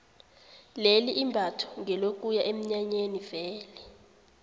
leli imbatho ngelokuya eminyanyeni vele